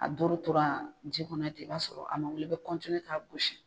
A doro tora ji kɔnɔ ten i b'a sɔrɔ a ma wuli i bɛ k'a gosi.